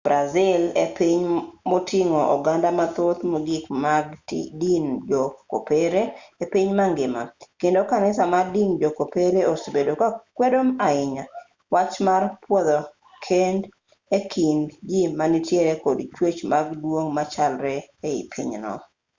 brazil e piny moting'o oganda mathoth mogik mag din jo-kopere e piny mangima kendo kanisa mar din jo-kopere osebedo ka kwedo ahinya wach mar pwodho keny e kind ji ma nitiere kod chwech mar duong' machalre ei pinyno